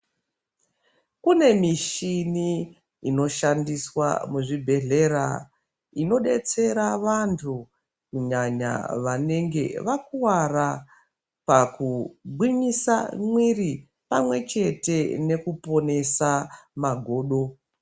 Kune mishini inoshandiswa muzvibhedhlera ino detsera vantu kunyanya vanenge vakuwara pakugwinyisa mwiiri pamwe chete nekuponesa magodo.